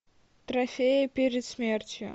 трофеи перед смертью